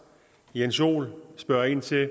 jeg sige